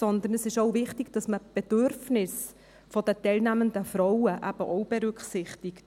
Sondern es ist auch wichtig, dass man die Bedürfnisse der teilnehmenden Frauen mitberücksichtigt.